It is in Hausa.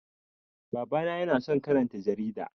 Baba na ya na son karanta jarida